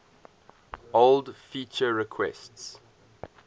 old feature requests